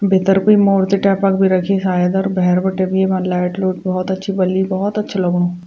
भीतर कुई मूर्ति टाइपा क भी रखीं शायद अर भैर बिटी येमा लाइट लुट भोत अच्छी बली भोत अच्छु लगणु।